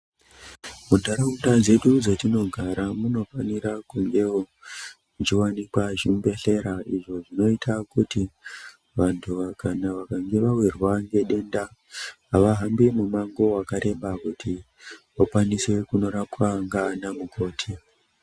Muntaraunda dzedu dzatinogara munofanira kungewo muchiwanika zvibhedhlera izvo zvinoita kuti vantu kana vawirwa ngedenda avahambi mumango wakareba kuti vakwanise kunorapwa ngaana mukoti.